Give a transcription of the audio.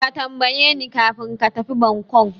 Ka tambayeni kafin ka tafi Bangkok.